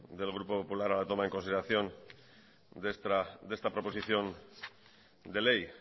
del grupo popular a la toma en consideración de esta proposición de ley